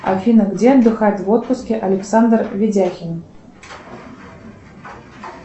афина где отдыхает в отпуске александр видяхин